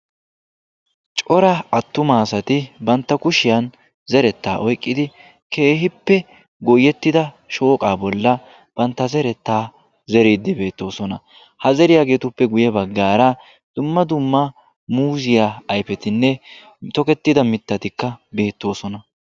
Cora attuma asati bantta kushiyaan zerettaa oyqqidi keehippe goyettida shooqaa bollan bantta zerettaa zeriiddi beettoosona. ha zeriyaagetuppe guye baggaara dumma duma muuziyaa ayfetinne tokettida mittatika beettoosona.